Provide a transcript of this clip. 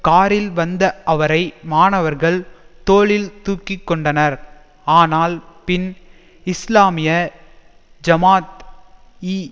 காரில் வந்த அவரை மாணவர்கள் தோளில் தூக்கி கொண்டனர் ஆனால் பின் இஸ்லாமிய ஜமாத் ஈ